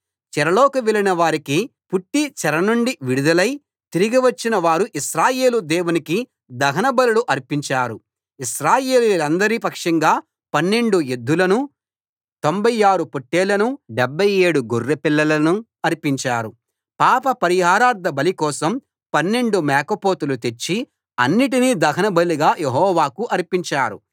చెరలోకి వెళ్ళిన వారికి పుట్టి చెర నుండి విడుదలై తిరిగి వచ్చిన వారు ఇశ్రాయేలు దేవునికి దహన బలులు అర్పించారు ఇశ్రాయేలీయులందరి పక్షంగా 12 ఎద్దులను 96 పొట్టేళ్ళను 77 గొర్రెపిల్లలను అర్పించారు పాపపరిహారార్థ బలి కోసం 12 మేకపోతులు తెచ్చి అన్నిటినీ దహనబలిగా యెహోవాకు అర్పించారు